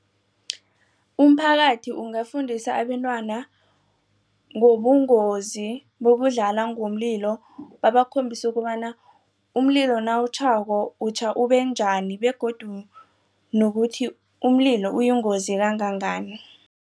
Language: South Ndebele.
Umphakathi ungafundisa abentwana ngobungozi bokudlala ngomlilo babakhombise ukobana umlilo nawutjhako utjha ubenjani begodu nokuthi umlilo uyingozi kangangani.